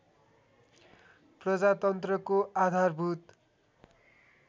प्रजातन्त्रको आधारभूत